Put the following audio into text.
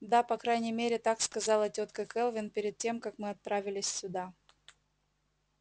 да по крайней мере так сказала тётка кэлвин перед тем как мы отправились сюда